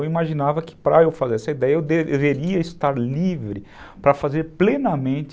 Eu imaginava que para eu fazer essa ideia eu deveria estar livre para fazer plenamente...